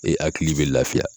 E akili be lafiya